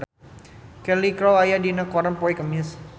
Cheryl Crow aya dina koran poe Kemis